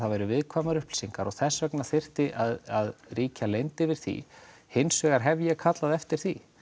væru viðkvæmar upplýsingar og þess vegna þyrfti að ríkja leynd yfir því hins vegar hef ég kallað eftir því